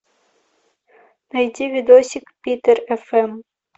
найти видосик питер фм